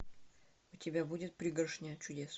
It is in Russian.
у тебя будет пригоршня чудес